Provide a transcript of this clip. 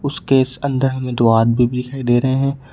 उसके इस अंदर में दो आदमी भी दिखाई दे रहे हैं।